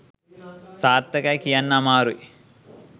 සාර්ථකයි කියන්න අමාරැයි.